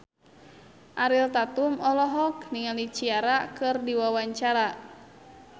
Ariel Tatum olohok ningali Ciara keur diwawancara